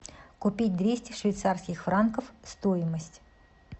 купить двести швейцарских франков стоимость